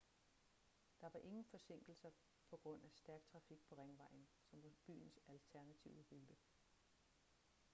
der var ingen forsinkelser på grund af stærk trafik på ringvejen som var byens alternative rute